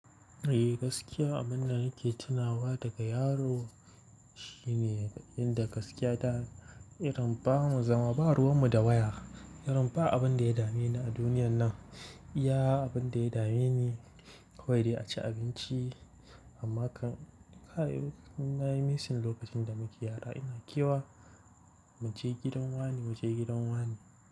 Eh, gaskiya abin da nake tunawa daga yaro. Shine inda gaskiya ta, irin ba mu zama ba ruwan mu da waya. Ba abin da ya dame ni a duniyar nan, iya abin da ya dame ni kawai dai a ci abinci. Amma kan kai na yi missing lokacin da muke yara ina kewa. Mu je gidan wane, mu je gidan wane.